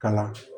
Kalan